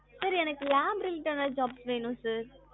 sir எனக்கு lab related job வேணும் sir.